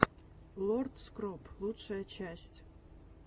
лорд скроп лучшая часть